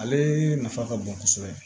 Ale nafa ka bon kosɛbɛ